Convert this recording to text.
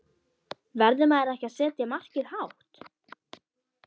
Verður maður ekki að setja markið hátt?